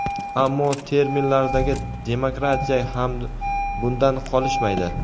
Ammo terminlardagi demokratiya ham bundan qolishmaydi.